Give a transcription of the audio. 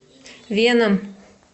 веном